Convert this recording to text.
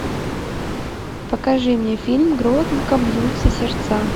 покажи мне фильм громко бьются сердца